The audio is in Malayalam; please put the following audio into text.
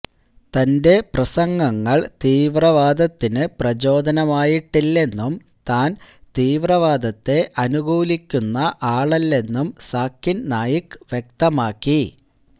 തന്റെ പ്രസംഗങ്ങൾ തീവ്രവാദത്തിന് പ്രചോദനമായിട്ടില്ലെന്നും താൻ തീവ്രവാദത്തെ അനുകൂലിക്കുന്ന ആളല്ലെന്നും സാക്കിൻ നായിക്ക് വ്യക്തമാക്കി